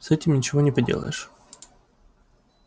с этим ничего не поделаешь